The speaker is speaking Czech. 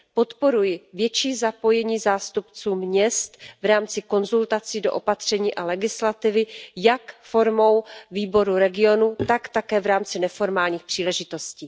Podporuji větší zapojení zástupců měst v rámci konzultací do opatření a legislativy jak formou Výboru regionů, tak také v rámci neformálních příležitostí.